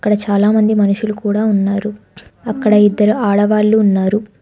ఇక్కడ చాలామంది మనుషులు కూడా ఉన్నారు అక్కడ ఇద్దరు ఆడవాళ్లు ఉన్నారు.